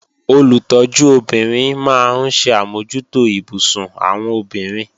Olùtọ́jú obìnrin máa ń ṣe àmójútó ibùsùn àwọn obìnrin